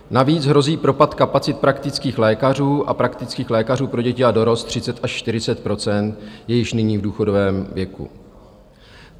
Navíc hrozí propad kapacit praktických lékařů a praktických lékařů pro děti a dorost, 30 až 40 % je již nyní v důchodovém věku.